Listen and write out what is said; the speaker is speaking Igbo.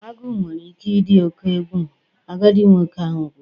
Agu nwere ike ịdị oke egwu, agadi nwoke ahụ kwuru